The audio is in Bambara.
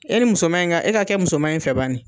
E ni musoman in ka , e ka kɛ musoman in fɛ bani.